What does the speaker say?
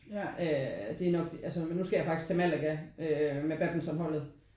Øh det er nok det altså men nu skal jeg faktisk til Malaga med badmintonholdet